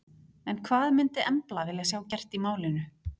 En hvað myndi Embla vilja sjá gert í málinu?